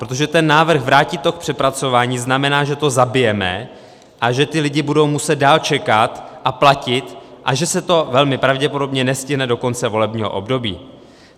Protože ten návrh vrátit to k přepracování znamená, že to zabijeme a že ti lidé budou muset dál čekat a platit a že se to velmi pravděpodobně nestihne do konce volebního období.